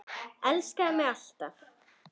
Elskaðu mig alt af.